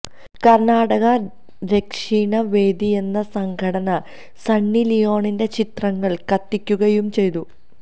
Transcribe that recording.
കര്ണാടക രക്ഷിണ വേദിയെന്ന സംഘടന സണ്ണി ലിയോണിന്റെ ചിത്രങ്ങള് കത്തിക്കുകയും ചെയ്തു